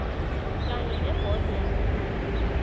kanye nebhodo yamalimi